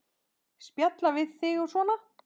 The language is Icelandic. Spjalla við þig og svona.